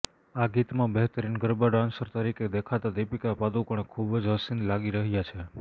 આ ગીતમાં બહેતરીન ગરબા ડાન્સર તરીકે દેખાતાં દીપિકા પાદુકોણે ખૂબ જ હસીન લાગી રહ્યાં છે